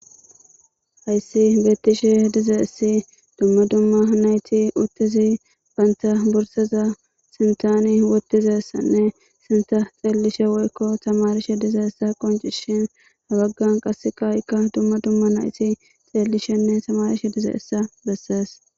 hayssi beettishe dizeessi dumma dumma nayti uttizi baynta bursaza sintani wottizessanne sinta xeellishe woykko tamarishe dizeessa qoncishin habaggan qass qaaykka dumma dumma nayti xeellishenne tamarishe dizeessa bessees